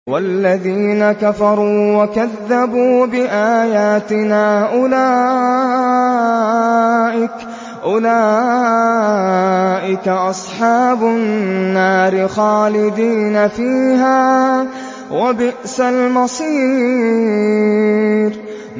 وَالَّذِينَ كَفَرُوا وَكَذَّبُوا بِآيَاتِنَا أُولَٰئِكَ أَصْحَابُ النَّارِ خَالِدِينَ فِيهَا ۖ وَبِئْسَ الْمَصِيرُ